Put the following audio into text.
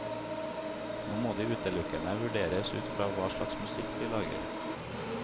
Nå må de utelukkende vurderes ut fra hva slags musikk de lager.